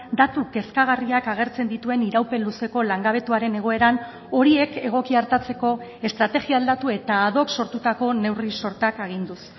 datu kezkagarriak agertzen dituen iraupen luzeko langabetuaren egoeran horiek egoki artatzeko estrategia aldatu eta ah doc sortutako neurri sortak aginduz